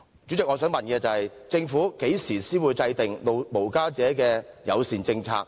主席，我的問題是：政府何時才會制訂無家者友善政策？